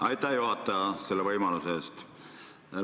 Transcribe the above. Aitäh, juhataja, selle võimaluse eest!